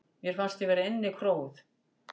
Mér fannst ég vera innikróuð.